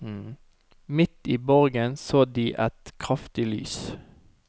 Midt i borgen så de et kraftig lys.